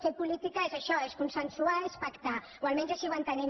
fer política és això és consensuar és pactar o almenys així ho entenem